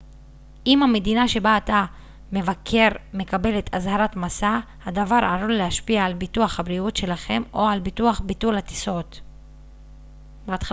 אם המדינה שבה אתם מבקרים מקבלת אזהרת מסע הדבר עלול להשפיע על ביטוח הבריאות שלכם או על ביטוח ביטולי הטיסות